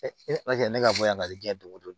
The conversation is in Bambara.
ne ala kɛ ne ka bɔ yan ka diɲɛ don o don